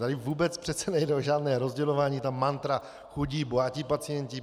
Tady vůbec přece nejde o žádné rozdělování, ta mantra chudí - bohatí pacienti.